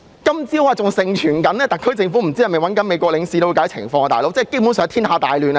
今天早上，還盛傳特區政府聯絡美國領事了解情況，感覺天下大亂了。